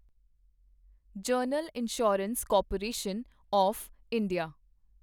general insurance corporation of India